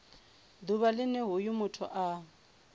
ḓuvha line hoyo muthu a